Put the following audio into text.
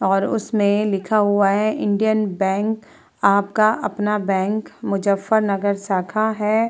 और उसमें लिखा हुआ है इंडियन बैंक । आपका अपना बैंक मुजफ्फर नगर शाखा है।